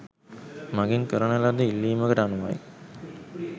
මගෙන් කරන ලද ඉල්ලීමකට අනුවයි.